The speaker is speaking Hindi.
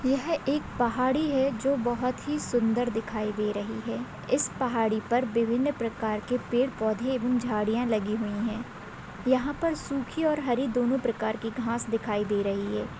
यह एक पहाड़ी है जो बहुत ही सुंदर दिखाई दे रही है इस पहाड़ी पर विभिन्न प्रकार के पेड़ पौधे एव झड़िया लगी हुई है। यहा पर सुखी और हरी दोनों प्रकार के घास दिखाई दे रही है।